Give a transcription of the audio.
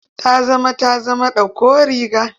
Ta zama ta zama ta zama ɗauko riga.